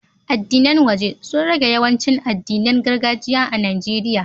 Addinan waje sun rage yawancin addinan gargajiya a Nijeriya.